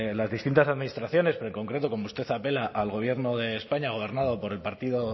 las distintas administraciones pero en concreto como usted apela al gobierno de españa gobernado por el partido